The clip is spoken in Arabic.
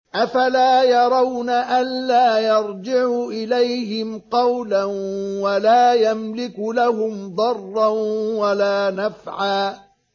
أَفَلَا يَرَوْنَ أَلَّا يَرْجِعُ إِلَيْهِمْ قَوْلًا وَلَا يَمْلِكُ لَهُمْ ضَرًّا وَلَا نَفْعًا